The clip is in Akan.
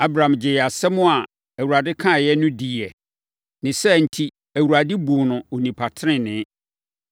Abram gyee asɛm a Awurade kaeɛ no diiɛ. Ne saa enti, Awurade buu no onipa tenenee.